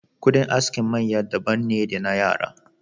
Kudin askin maya daban ne da na yara.